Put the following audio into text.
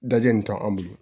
Dajun nin t'an bolo